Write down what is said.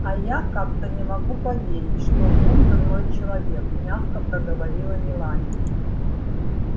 а я как-то не могу поверить что он дурной человек мягко проговорила мелани